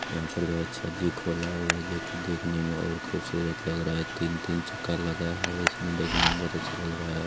यहाँ पर जो है जे खुला हुआ है जो की देखने में और खूबसूरत लग रहा है तीन-तीन चक्का लगा है इसमें देखने में बहुत अच्छा लग रहा है।